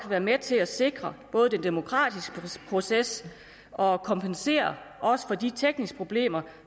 være med til at sikre den demokratiske proces og kompensere for de tekniske problemer